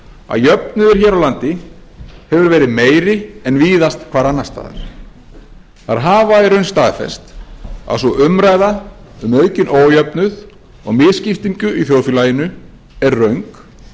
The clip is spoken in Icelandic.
að jöfnuður hér á landi hefur verið meiri en víðast hvar annars staðar þær hafa í raun staðfest að sú umræða um aukinn ójöfnuð og misskiptingu í þjóðfélaginu er röng